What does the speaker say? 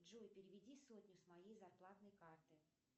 джой переведи сотню с моей зарплатной карты